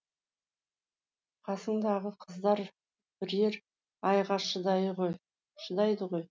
қасыңдағы қыздар бірер айға шыдайды ғой